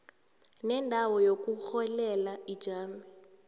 nendawo yokurholela ijame